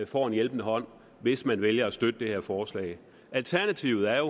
får en hjælpende hånd hvis man vælger at støtte det her forslag alternativet er